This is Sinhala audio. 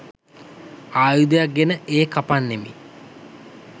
ආයුධයක් ගෙන ඒ කපන්නෙමි.